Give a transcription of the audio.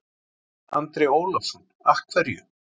Andri Ólafsson: Af hverju?